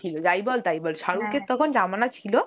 ছিল যায় বল তাই বল তখন Hindi ছিল